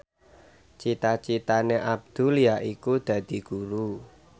cita citane Abdul yaiku dadi guru